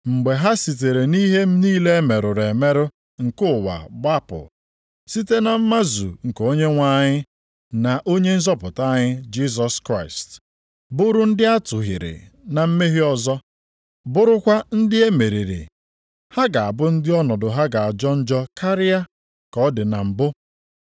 Mgbe ha sitere nʼihe niile emerụrụ emerụ nke ụwa gbapụ, site na mmazu nke Onyenwe anyị, na Onye nzọpụta anyị Jisọs Kraịst, bụrụ ndị atụhịrị na mmehie ọzọ, bụrụkwa ndị e meriri, ha ga-abụ ndị ọnọdụ ha ga-ajọ njọ karịa ka ọ dị na mbụ.